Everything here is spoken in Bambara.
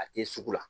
A tɛ sugu la